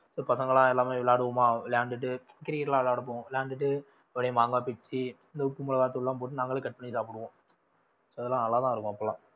so பசங்கெல்லாம் எல்லாமே விளையாடுவோமா விளையாண்டுட்டு cricket லாம் விளையாட போவோம் விளையாண்டுட்டு அப்படியே மாங்கா பிச்சு இந்த உப்பு மிளகாய்த்தூள் எல்லாம் போட்டு நாங்களே cut பண்ணி சாப்பிடுவோம் இதெல்லாம் அழகா இருக்கும் அப்பெல்லாம்